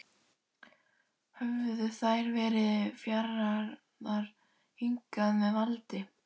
Höfðu þær verið færðar hingað með valdi?